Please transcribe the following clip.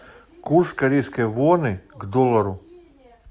курс корейской воны к доллару